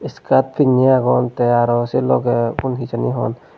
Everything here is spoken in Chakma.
skirt pinney agon te aro se loge ubun hejini he hon.